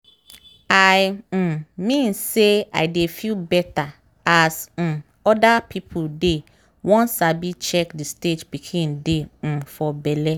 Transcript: i um mean say i dey feel better as um other people dey won sabi check the stage pikin dey um for belle.